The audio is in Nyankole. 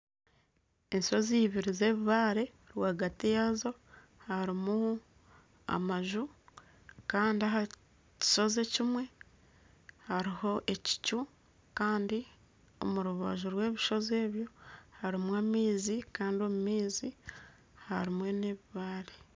Enshozi ibiri z'ebibare rwagati yazo harumu amaju Kandi ahakishozi ekimwe haruho ekicu kandi omurubaju rwebishozi ebyo harumu amaizi kandi omumaizi harumu n'ebibare.